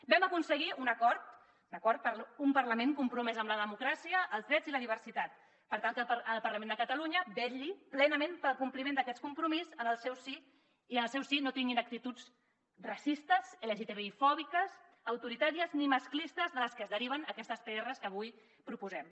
vam aconseguir un acord un acord per un parlament compromès amb la democràcia els drets i la diversitat per tal que el parlament de catalunya vetlli plenament pel compliment d’aquest compromís en el seu si i en el seu si no tinguin actituds racistes lgtbifòbiques autoritàries ni masclistes del que es deriven aquestes prs que avui proposem